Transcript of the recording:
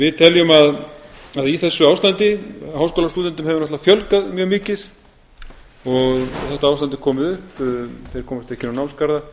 við teljum að í þessu ástandi háskólastúdentum hefur náttúrlega fjölgað mjög mikið og þetta ástand er komið upp þeir komast ekki inn á námsgarða að